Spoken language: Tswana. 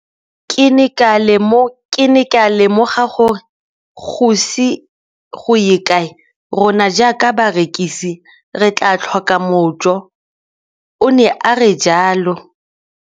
Ke ne ka lemoga gore go ise go ye kae rona jaaka barekise re tla tlhoka mojo, o ne a re jalo.